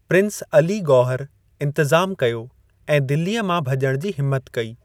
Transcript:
Prince Ali Gauhar, इंतज़ाम कयो ऐं दिल्लीअ मां भॼण जी हिम्मत कई।